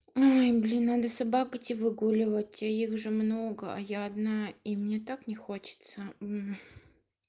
ой блин надо собак идти выгуливать а их же много а я одна и мне так не хочется уу